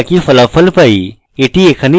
এটি এখানে implode function